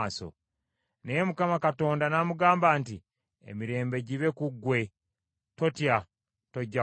Naye Mukama Katonda n’amugamba nti, “Emirembe gibe ku ggwe tootya tojja kufa.”